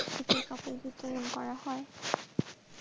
যে কাপড় বিতরণ করা হয়.